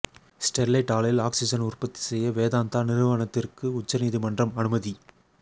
Sterlite ஆலையில் oxygen உற்பத்தி செய்ய வேதாந்தா நிறுவனத்திற்கு உச்சநீதிமன்றம் அனுமதி